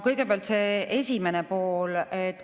Kõigepealt see esimene pool.